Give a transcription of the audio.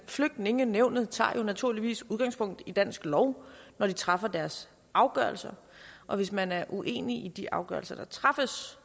flygtningenævnet tager jo naturligvis udgangspunkt i dansk lov når de træffer deres afgørelser og hvis man er uenig i de afgørelser der træffes